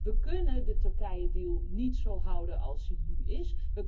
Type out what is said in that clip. We kunnen de Turkije deal niet zo houden als hij nu is.